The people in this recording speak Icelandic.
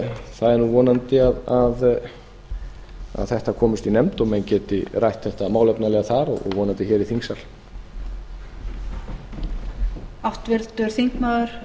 það er nú landi að þetta komist í nefnd og menn geti rætt þetta málefnalega þar og vonandi hér í þingsal